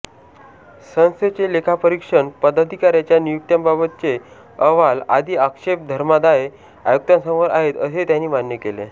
संस्थेचे लेखापरीक्षण पदाधिकाऱ्यांच्या नियुक्त्यांबाबतचे अहवाल आदी आक्षेप धर्मादाय आयुक्तांसमोर आहेत असेही त्यांनी मान्य केले